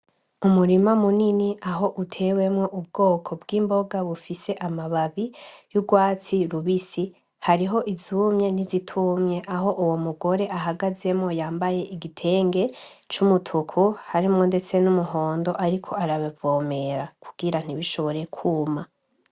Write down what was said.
Umurima munini aho utewemwo ubwoko bw'imboga bufise amababi y'urwatsi rubisi. Hariho izumye n'izitumye aho uwo mugore ahagazemwo yambaye igitenge c'umutuku harimwo ndetse n'umuhondo ariko arabivomera kugira ntibishobore kuma.